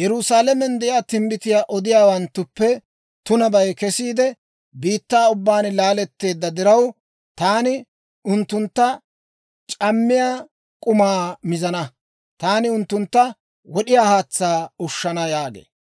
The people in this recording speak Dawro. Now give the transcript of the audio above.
«Yerusaalamen de'iyaa timbbitiyaa odiyaawanttuppe tunabay kesiide, biittaa ubbaan laaletteedda diraw, taani unttuntta c'ammiyaa k'umaa mizana; taani unttuntta wod'iyaa haatsaa ushshana» yaagee.